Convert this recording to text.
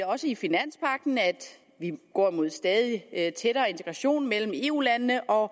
også i finanspagten at vi går mod stadig tættere integration mellem eu landene og